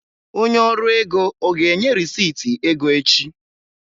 Onye ọrụ ego ọ ga-enye rịsịtị ego echi?